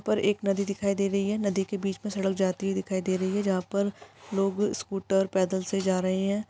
उपर एक नदी दिखाई दे रही है नदी के बीच मे सड़क जाती हुई दिखाई दे रही है जहा पर लोग स्कूटर पैदल से जा रहै हैं।